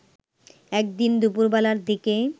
একদিন দুপুরবেলার দিকে